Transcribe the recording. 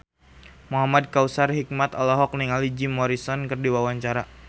Muhamad Kautsar Hikmat olohok ningali Jim Morrison keur diwawancara